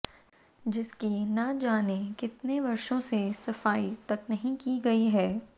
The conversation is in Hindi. जिसकी न जाने कितने वर्षों से सफाई तक नहीं की गई है